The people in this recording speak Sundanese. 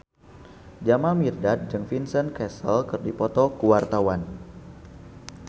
Jamal Mirdad jeung Vincent Cassel keur dipoto ku wartawan